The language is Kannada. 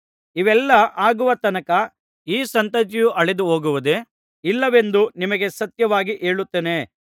ಇವೆಲ್ಲಾ ಆಗುವ ತನಕ ಈ ಸಂತತಿಯು ಅಳಿದು ಹೋಗುವುದೇ ಇಲ್ಲವೆಂದು ನಿಮಗೆ ಸತ್ಯವಾಗಿ ಹೇಳುತ್ತೇನೆ